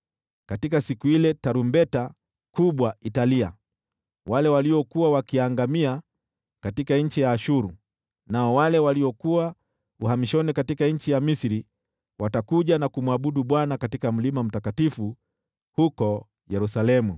Katika siku ile tarumbeta kubwa italia. Wale waliokuwa wakiangamia katika nchi ya Ashuru, nao wale waliokuwa uhamishoni katika nchi ya Misri watakuja na kumwabudu Bwana katika mlima mtakatifu huko Yerusalemu.